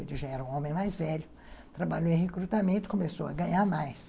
Ele já era um homem mais velho, trabalhou em recrutamento, começou a ganhar mais.